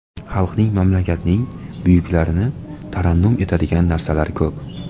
Xalqning, mamlakatning buyukligini tarannum etadigan narsalar ko‘p.